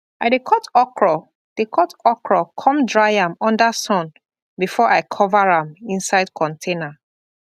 i dey cut okra dey cut okra come dry am under sun before i cover am inside container